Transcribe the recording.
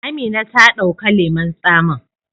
Amina ta dauka lemun tsamin.